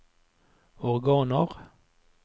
organer